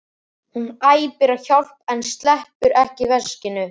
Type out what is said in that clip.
Hún æpir á hjálp en sleppir ekki veskinu.